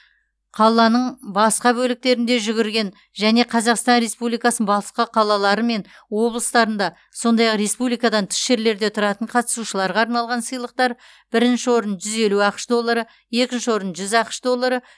қаланың басқа бөліктерінде жүгірген және қазақстан республикасының басқа қалалары мен облыстарында сондай ақ республикадан тыс жерлерде тұратын қатысушыларға арналған сыйлықтар бірінші орын жүз елу ақш доллары екінші орын жүз ақш доллары